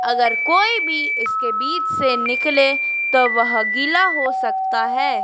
अगर कोई भी इसके बीच से निकले तो वह गीला हो सकता है।